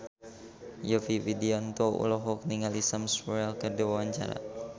Yovie Widianto olohok ningali Sam Spruell keur diwawancara